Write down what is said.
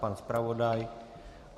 Pan zpravodaj?